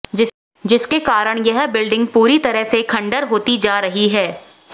जिसके कारण यह बिल्डिंग पूरी तरह से खंडार होती जा रही है